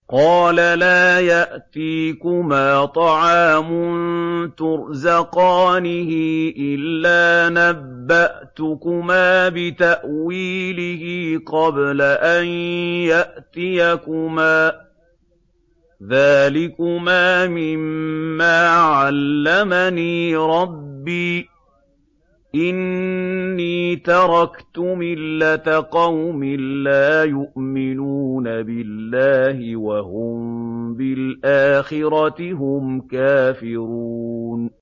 قَالَ لَا يَأْتِيكُمَا طَعَامٌ تُرْزَقَانِهِ إِلَّا نَبَّأْتُكُمَا بِتَأْوِيلِهِ قَبْلَ أَن يَأْتِيَكُمَا ۚ ذَٰلِكُمَا مِمَّا عَلَّمَنِي رَبِّي ۚ إِنِّي تَرَكْتُ مِلَّةَ قَوْمٍ لَّا يُؤْمِنُونَ بِاللَّهِ وَهُم بِالْآخِرَةِ هُمْ كَافِرُونَ